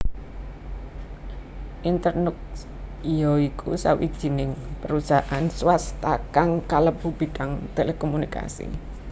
Internux ya iku sawijining perusahaan swasta kang kalebu bidang telekomunikasi